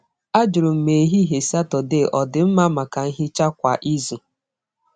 Ajụrụ m ma ehihie Saturday ọ dị mma maka nhicha kwa izu.